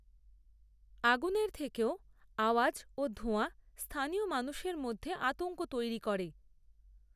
আগুনের থেকেও, আওয়াজ ও ধোঁয়া স্থানীয় মানুষের মধ্যে, আতঙ্ক তৈরি করে